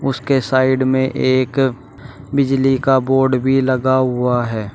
उसके साइड में एक बिजली का बोर्ड भी लगा हुआ है।